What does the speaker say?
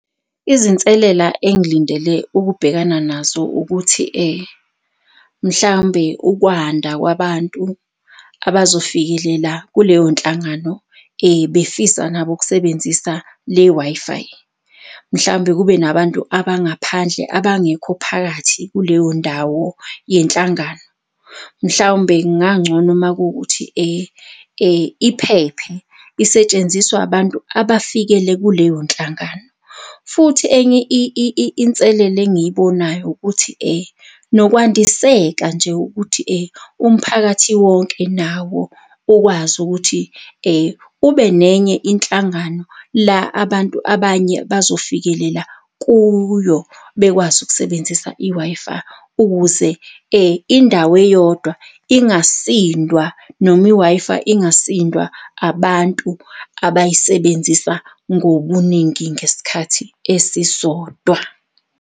Izinselela engilindele ukubhekana nazo ukuthi mhlawumbe ukwanda kwabantu abazofikelela kuleyo nhlangano befisa nabo ukusebenzisa le Wi-Fi, mhlambe kube nabantu abangaphandle abangekho phakathi kuleyo ndawo yenhlangano. Mhlawumbe kungangcono makuwukuthi iphephe isetshenziswa abantu abafikele kuleyo nhlangano. Futhi enye inselele engiyibonayo ukuthi nokwandiseka nje ukuthi umphakathi wonke nawo ukwazi ukuthi ube nenye inhlangano la abantu abanye bazofikelela kuyo bekwazi ukusebenzisa i-Wi-Fi ukuze indawo eyodwa ingasindwa noma i-Wi-Fi ingasindwa abantu abayisebenzisa ngobuningi ngesikhathi esisodwa.